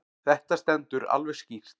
Þetta stendur alveg skýrt.